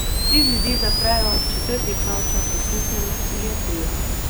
Tri ljudi zaprejo, četrti pravočasno smukne na psihiatrijo.